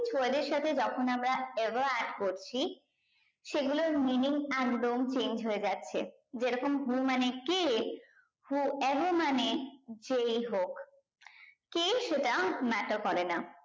word এর সাথে যখন আমরা ever add করছি সেগুলোর meaning একদম change হয়ে যাচ্ছে যে রকম who মানে কে who ever মানে যেই হোক কে সেটা matter করে না